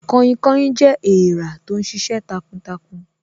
Kainkain jẹ́ èrà tó ń sisẹ takuntakun